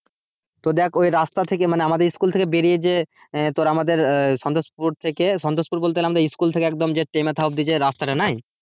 তো দেখ ওই রাস্তা থেকে মানে আমাদের স্কুল থেকে বেরিয়ে যে আহ আমাদের ইয়ে সন্তোষপুর থেকে সন্তোষপুর বলতে আমাদের স্কুল থেকে তে মাথা উপাধি যে রাস্তাটা নাই?